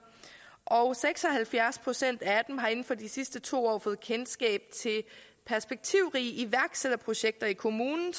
og seks og halvfjerds procent af erhvervscheferne har inden for de sidste to år fået kendskab til perspektivrige iværksætterprojekter i kommunen